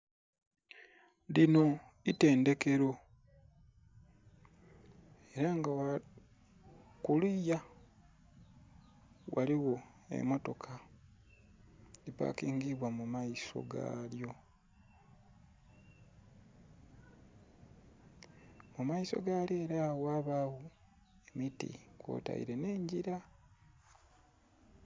Linho itendhekelo era nga kuliya ghaligho emmotoka edhi pakingibwa mumaiso galyo, mumaiso galyo era ghabagho emiti kwoteile nh'engila.